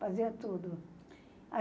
Fazia tudo.